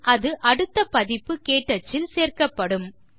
பின் அது அடுத்த பதிப்பு க்டச் இல் சேர்க்கப்படும்